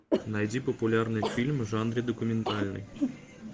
найди популярный фильм в жанре документальный